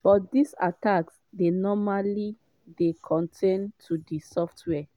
but dis attacks dey normally dey contained to di software.